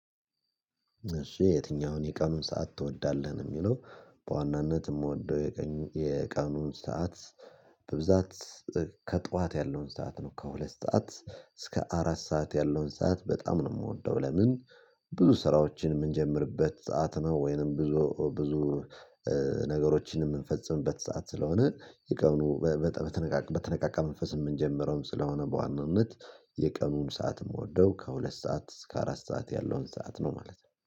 እሱ የትኛውን የቀኑን ሰዓት ትወዳለህ የሚለው? በዋናነት የምወደው የቀኑን ሰዓት በብዛት ከጠዋት ያለውን ሰዓት ነው። ከሁለት ሰዓት እስከ አራት ሰዓት ያለውን ሰዓት በጣም ነው የምወደው። ለምን? ብዙ ስራዎችን የምንጀምርበት ሰዓት ነው ወይንም ብዙ ብዙ ነገሮችን የምንፈጽምበት ሰዓት ስለሆነ። ቀኑን በተነቃቃ መንፈስ የምንጀምረውም ስለሆነ። በዋናነት የቀኑን ሰዓት የምወደው ከሁለት ሰዓት እስከ አራት ሰዓት ያለውን ሰዓት ነው ማለት ነው